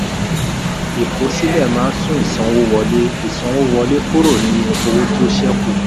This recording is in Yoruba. ìkosílẹ̀ máa ń sún ìsanwówọlé ìsanwówọlé kúrò ní owó tó ṣẹ̀kù.